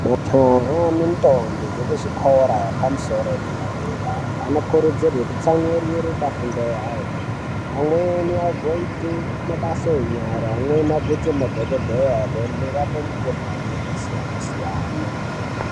Majaha nendombi dzekuzvikora zvepamusoro edera dera anokurudzirwe kutsamwirire pafundo yawo amweni agoite mabasa enyara amweni agoite madhokodheya anorapa mikhuhlani yakasiyana siyana.